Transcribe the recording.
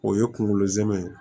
O ye kunkolo zɛmɛ ye